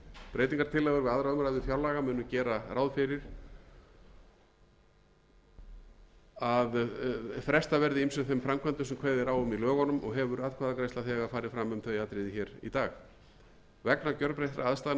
breytingartillögur við aðra umræðu fjárlaga munu gera ráð fyrir að frestað verði ýmsum þeim framkvæmdum sem kveðið er á um í lögunum og hefur atkvæðagreiðsla þegar farið fram um þau atriði hér í dag vegna gjörbreyttra aðstæðna í efnahagslífi